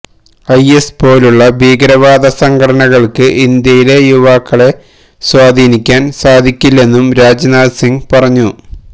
is പോലുള്ള ഭീകരവാദ സംഘടനകൾക്ക് ഇന്ത്യയിലെ യുവാക്കളെ സ്വാധീനിക്കാൻ സാധിക്കില്ലെന്നും രാജ്നാഥ് സിങ് പറഞ്ഞു